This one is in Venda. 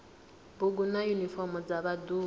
bugu na yunifomo dza vhaḓuhulu